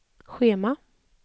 schema